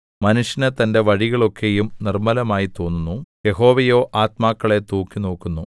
മനുഷ്യന് തന്റെ വഴികളൊക്കെയും നിർമ്മലമായി തോന്നുന്നു യഹോവയോ ആത്മാക്കളെ തൂക്കിനോക്കുന്നു